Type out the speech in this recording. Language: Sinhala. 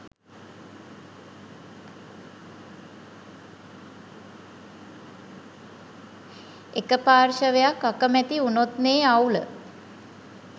එක පාර්ශවයක් අකමැති උනොත්නෙ අවුල